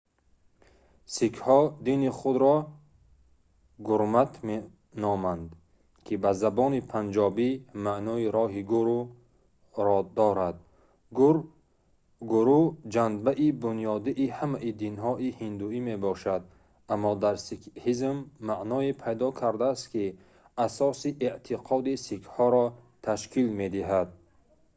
сикҳҳо дини худро гурмат меноманд ки ба забони панҷобӣ маънои роҳи гуру"‑ро дорад. гуру ҷанбаи бунёдии ҳамаи динҳои ҳиндуӣ мебошад аммо дар сикҳизм маъное пайдо кардааст ки асоси эътиқоди сикҳҳоро ташкил медиҳад